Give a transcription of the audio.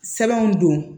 Sɛbɛnw don